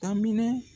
A minɛ